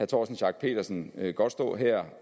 torsten schack pedersen godt stå her